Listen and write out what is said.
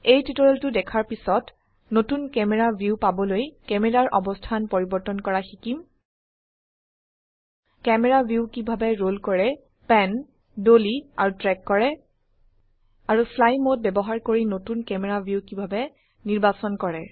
এই টিউটোৰিয়েলটো দেখাৰ পিছত নতুন ক্যামেৰা ভিউ পাবলৈ ক্যামেৰাৰ অবস্থান পৰিবৰ্তন কৰা শিকিম ক্যামেৰা ভিউ কিভাবে ৰোল কৰে প্যান ডলী আৰু ট্ৰেক কৰে আৰু ফ্লাই মোড ব্যবহাৰ কৰি নতুন ক্যামেৰা ভিউ কিভাবে নিৰ্বাচন কৰে